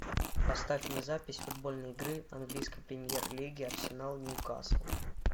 поставь мне запись футбольной игры английской премьер лиги арсенал ньюкасл